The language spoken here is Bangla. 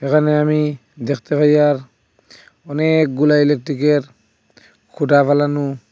এখানে আমি দেখতে পাই আর অনেকগুলা ইলেকটিকের খুঁটা ফেলানো।